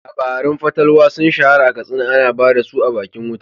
Labarun fatalwa sun shahara a Katsina, ana ba da su a bakin wuta.